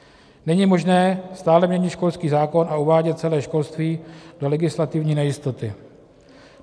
Není možné stále měnit školský zákon a uvádět celé školství do legislativní nejistoty.